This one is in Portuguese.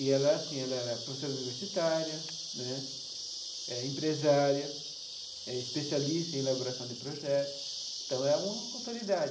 E ela assim era professora universitária né, eh empresária, era especialista em elaboração de projetos, então era uma autoridade.